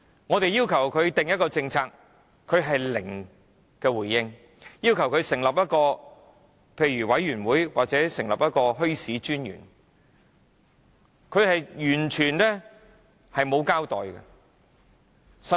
我們要求政府制訂墟市政策，政府零回應；要求政府成立一個委員會或設立墟市專員，政府亦完全沒有交代。